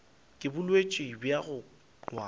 ke bolwetši bja go wa